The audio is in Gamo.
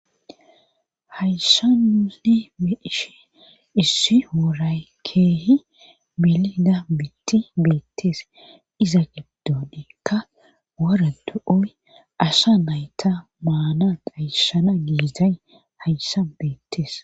hayssa nunne be'ishe issi woray keehi bilida bitti beettees iza gibdodeekka wara du7oy asha nayta maana qayshana giizay hayssa beettees